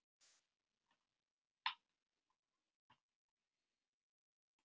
Síra Björn fann andartak fyrir hlýjum lófa föður síns á handarbakinu.